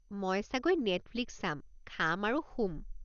মই চাগৈ নেটফ্লিক্স চাম, খাম আৰু শুম।